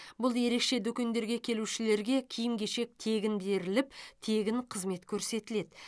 бұл ерекше дүкендерге келушілерге киім кешек тегін беріліп тегін қызмет көрсетіледі